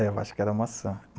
É, eu acho que era a maçã.